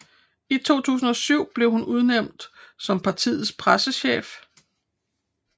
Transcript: I 2007 blev hun udnævnt som partiets pressechef